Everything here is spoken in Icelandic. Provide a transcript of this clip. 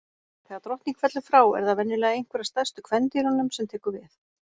Þegar drottning fellur frá, er það venjulega einhver af stærstu kvendýrunum sem tekur við.